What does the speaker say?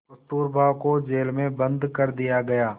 कस्तूरबा को जेल में बंद कर दिया गया